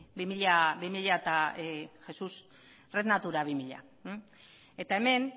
red natura bi mila eta hemen